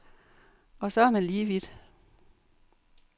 Og så er man lige vidt.